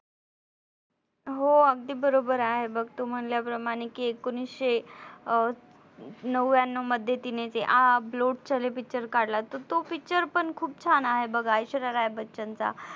हो अगदी बरोबर आहे बघ तू म्हणल्याप्रमाणे कि एकोणीशे नव्याणव मध्ये तिने ते आ अब लोट चले Picture काढला तर Picture पण खूप छान आहे बघ ऐश्वर्या राय बच्चन चा